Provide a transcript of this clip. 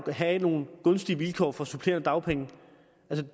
have nogle gunstige vilkår for supplerende dagpenge